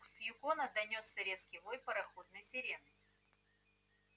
с юкона донёсся резкий вой пароходной сирены